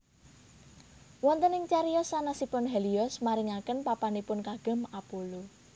Wonten ing cariyos sanèsipun Helios maringaken papanipun kagem Apollo